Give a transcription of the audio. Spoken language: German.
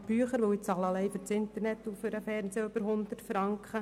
Ich bezahle nur für Internet und Fernsehen über 100 Franken.